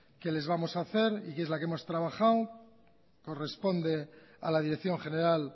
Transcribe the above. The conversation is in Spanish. que les vamos a hacer y que es la que hemos trabajado corresponde a la dirección general